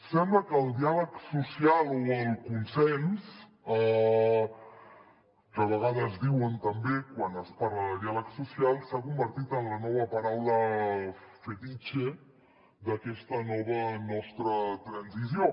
sembla que el diàleg social o el consens que a vegades diuen també quan es parla de diàleg social s’han convertit en la nova paraula fetitxe d’aquesta nova nostra transició